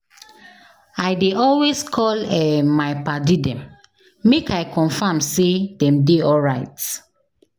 I dey always call um my paddy dem make I confirm sey dem dey alright.